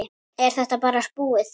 Er þetta bara búið?